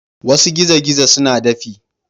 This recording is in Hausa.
Wasu gizo-gizo suna dafi.